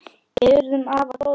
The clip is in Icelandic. Við urðum afar góðir vinir.